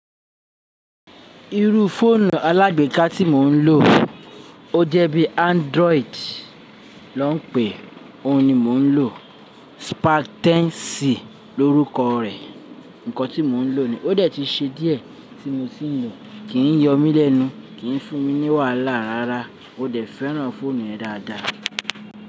Irú fóònù alágbèéká tí mò ń lò o jẹ́ bí Android l'ó ń pè é. Òun ni mò ń lò. Sparten si l'órúkọ rẹ̀. Ǹkan tí mò ń lò ní ó dẹ̀ ti ṣe díẹ̀ tí mo tí ń lò. Kì n yọ mí lẹ́nu, kì n fún mi ní wàhálà rárá. Mo dẹ̀ fẹ́ràn fóònù yẹn dáadáa.